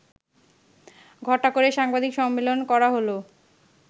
ঘটা করে সাংবাদিক সম্মেলন করা হলো